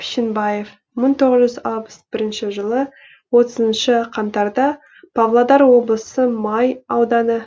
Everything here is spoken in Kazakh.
пішенбаев мың тоғыз жүз алпыс бірінші жылы отызыншы қаңтарда павлодар облысы май ауданы